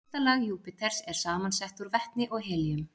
Ysta lag Júpíters er samansett úr vetni og helíum.